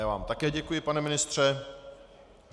Já vám také děkuji, pane ministře.